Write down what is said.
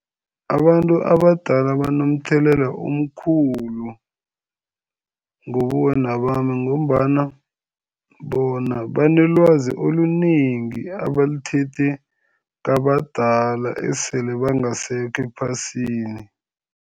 Abantu abadala banomthelela omkhulu ngobuwena bami ngombana bona banelwazi olunengi abalithethe kwabadala esele bangasekho ephasini.